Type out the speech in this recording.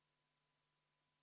Kõigepealt Varro Vooglaid, palun!